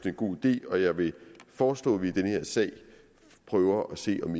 en god idé og jeg vil foreslå at vi i den her sag prøver at se om